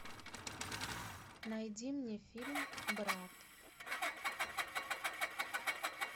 найди мне фильм брат